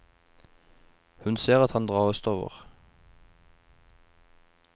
Hun ser at han drar østover.